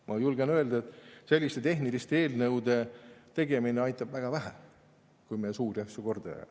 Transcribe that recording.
Ma julgen öelda, et selliste tehniliste eelnõude tegemine aitab väga vähe, kui me suuri asju korda ei aja.